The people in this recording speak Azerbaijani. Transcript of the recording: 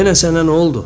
Yenə sənə nə oldu?